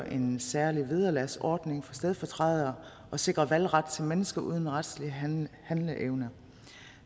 en særlig vederlagsordning for stedfortrædere og sikres valgret til mennesker uden retlig handleevne